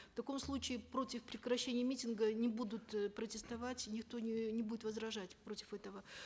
в таком случае против прекращения митинга не будут э протестовать никто не не будет возражать против этого